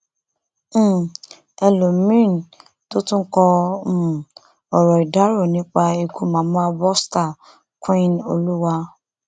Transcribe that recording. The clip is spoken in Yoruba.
um ẹlọmìnín tó tún kọ um ọrọ ìdárò nípa ikú mama bosta queenoluwa